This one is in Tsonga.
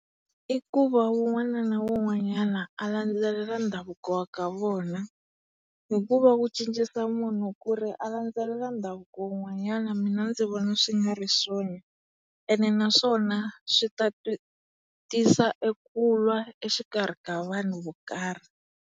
I ku va wun'wana na wun'wanyana a landzelela ndhavuko wa ka vona hikuva wu cincisa munhu ku ri a landzelela ndhavuko wun'wanyana mina ndzi vona swi nga ri swona ene naswona swi ta tisa e kulwa exikarhi ka vanhu vo karhi.